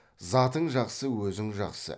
затың жақсы өзің жақсы